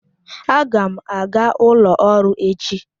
Aga m aga ụlọ ọrụ echi.